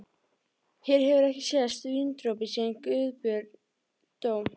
Hér hefur ekki sést víndropi síðan Guðbjörn dó.